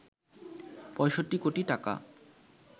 ৬৫ কোটি টাকা